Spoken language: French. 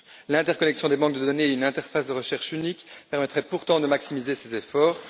L'interconnexion des banques de données et une interface de recherche unique permettraient pourtant de maximiser ces efforts.